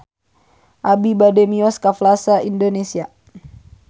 Abi bade mios ka Plaza Indonesia